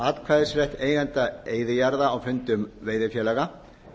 atkvæðisrétt eigenda eyðijarða á fundum veiðifélaga